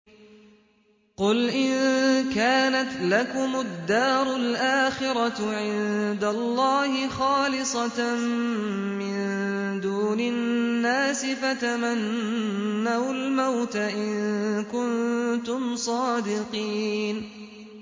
قُلْ إِن كَانَتْ لَكُمُ الدَّارُ الْآخِرَةُ عِندَ اللَّهِ خَالِصَةً مِّن دُونِ النَّاسِ فَتَمَنَّوُا الْمَوْتَ إِن كُنتُمْ صَادِقِينَ